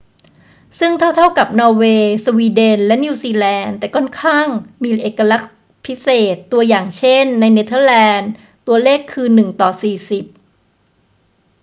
ซึ่งเท่า ๆ กับนอร์เวย์ สวีเดน และนิวซีแลนด์ แต่ก็ค่อนข้างมีเอกลักษณ์พิเศษ ตัวอย่าง เช่น ในเนเธอร์แลนดื ตัวเลขคือ 1 ต่อ 40